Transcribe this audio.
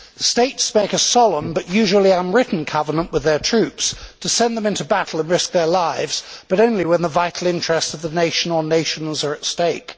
States make a solemn, but usually unwritten, covenant with their troops to send them into battle and risk their lives, but only when the vital interests of the nation or nationals are at stake.